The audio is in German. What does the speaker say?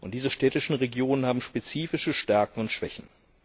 Und diese städtischen Regionen haben spezifische Stärken und Schwächen.